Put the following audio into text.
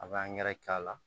A bɛ k'a la